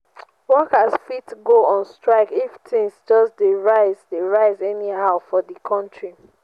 worker fit go on strike if things just de rise de rise anyhow for di counrty